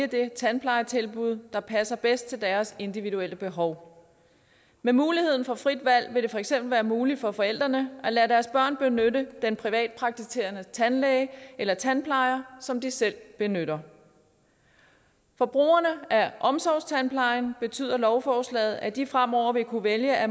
det tandplejetilbud der passer bedst til deres individuelle behov med muligheden for frit valg vil det for eksempel være muligt for forældrene at lade deres børn benytte den privatpraktiserende tandlæge eller tandplejer som de selv benytter for brugerne af omsorgstandplejen betyder lovforslaget at de fremover vil kunne vælge at